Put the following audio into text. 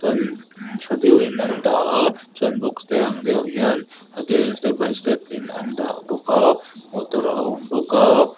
tha deuhin an dah a chuan box te ang deuh hian tha deuhin step by step in an dah bawk a motor a awm bawk a.